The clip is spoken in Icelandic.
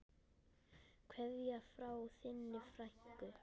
Kveðja frá þinni frænku.